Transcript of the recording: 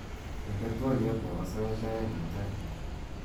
inde twolyot nepo sait oeng' mutai